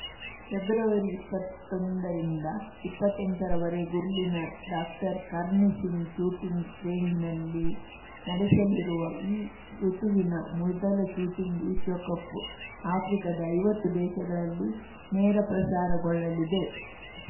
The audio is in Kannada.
ಫೆಬ್ರವರಿಇಪ್ಪತ್ತೊಂದರಿಂದ ಇಪ್ಪತ್ತೆಂಟರ ವರೆಗೂ ಇಲ್ಲಿನ ಡಾಕ್ಟರ್ಕರ್ಣಿ ಸಿಂಗ್‌ ಶೂಟಿಂಗ್‌ ರೇಂಜ್‌ನಲ್ಲಿ ನಡೆಸಲಿರುವ ಈ ಋತುವಿನ ಮೊದಲ ಶೂಟಿಂಗ್‌ ವಿಶ್ವಕಪ್‌ ಆಫ್ರಿಕಾದ ಐವತ್ತು ದೇಶಗಳಲ್ಲಿ ನೇರ ಪ್ರಸಾರಗೊಳ್ಳಲಿದೆ